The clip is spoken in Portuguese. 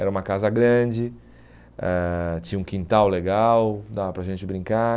Era uma casa grande, ãh tinha um quintal legal, dava para a gente brincar.